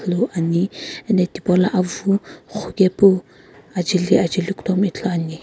ane ano thipolo avu ghukae pu akae li ajaeli ithulu ane.